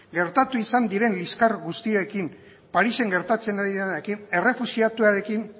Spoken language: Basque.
gertatu izan diren liskar guztiekin parisen gertatzen ari denarekin errefuxiatuekin